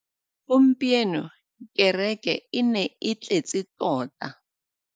Gompieno kêrêkê e ne e tletse tota.